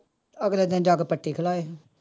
ਅਗਲੇ ਦਿਨ ਜਾ ਕੇ ਪੱਟੀ ਖੁਲਵਾਈ।